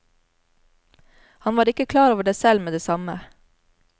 Han var ikke klar over det selv med det samme.